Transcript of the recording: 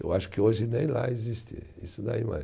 Eu acho que hoje nem lá existe isso daí mais